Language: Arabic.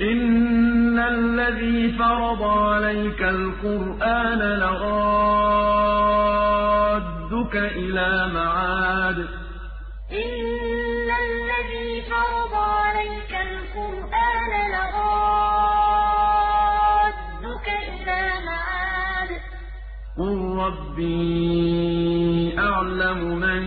إِنَّ الَّذِي فَرَضَ عَلَيْكَ الْقُرْآنَ لَرَادُّكَ إِلَىٰ مَعَادٍ ۚ قُل رَّبِّي أَعْلَمُ مَن